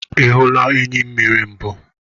Ị hụla enyimmiri mbụ?